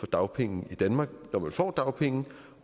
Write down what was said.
dagpenge i danmark når man får dagpenge